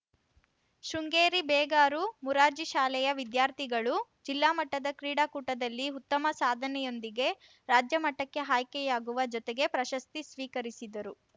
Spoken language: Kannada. ಶೃಂಗೇರಿ ಬೇಗಾರು ಮೊರಾರ್ಜಿ ಶಾಲೆಯ ವಿದ್ಯಾರ್ಥಿಗಳು ಜಿಲ್ಲಾಮಟ್ಟದ ಕ್ರೀಡಾಕೂಟದಲ್ಲಿ ಉತ್ತಮ ಸಾಧನೆಯೊಂದಿಗೆ ರಾಜ್ಯಮಟ್ಟಕ್ಕೆ ಆಯ್ಕೆಯಾಗುವ ಜೊತೆಗೆ ಪ್ರಶಸ್ತಿ ಸ್ವೀಕರಿಸಿದರು